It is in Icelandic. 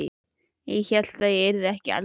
Ég hélt ég yrði ekki eldri!